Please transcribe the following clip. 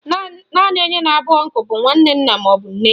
Naanị onye na-abụ ọnkụ bụ nwanne nna maọbụ nne